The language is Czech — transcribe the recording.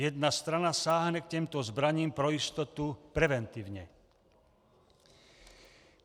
Jedna strana sáhne k těmto zbraním pro jistotu preventivně.